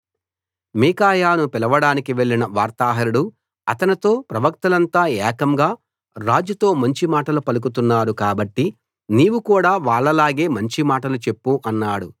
మీకాయాను పిలవడానికి వెళ్ళిన వార్తాహరుడు అతనితో ప్రవక్తలంతా ఏకంగా రాజుతో మంచి మాటలు పలుకుతున్నారు కాబట్టి నీవు కూడా వాళ్ళలాగే మంచి మాటలు చెప్పు అన్నాడు